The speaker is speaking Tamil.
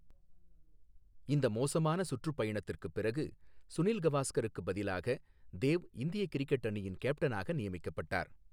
இந்த மோசமான சுற்றுப்பயணத்திற்குப் பிறகு, சுனில் கவாஸ்கருக்குப் பதிலாக தேவ் இந்திய கிரிக்கெட் அணியின் கேப்டனாக நியமிக்கப்பட்டார்.